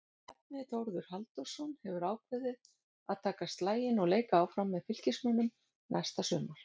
Bjarni Þórður Halldórsson hefur ákveðið að taka slaginn og leika áfram með Fylkismönnum næsta sumar.